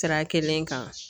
Sira kelen kan